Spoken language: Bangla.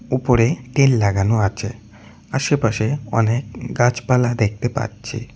উপরেই টিন লাগানো আছে আশেপাশে অনেক গাছপালা দেখতে পাচ্ছি।